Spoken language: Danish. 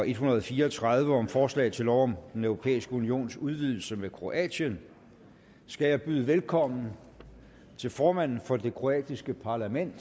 en hundrede og fire og tredive om forslag til lov om den europæiske unions udvidelse med kroatien skal jeg byde velkommen til formanden for det kroatiske parlament